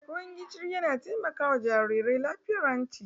Ruwan gishiri yana taimaka wa jarirai lafiyar hanci